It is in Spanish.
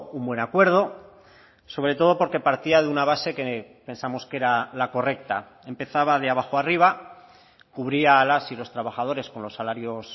un buen acuerdo sobre todo porque partía de una base que pensamos que era la correcta empezaba de abajo a arriba cubría a las y los trabajadores con los salarios